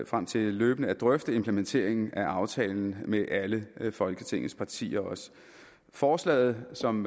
frem til løbende at drøfte implementeringen af aftalen med alle folketingets partier forslaget som